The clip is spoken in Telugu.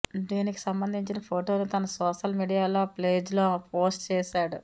దీనికి సంబంధించిన ఫోటోను తన సోషల్ మీడియా పేజ్లో పోస్ట్ చేశాడు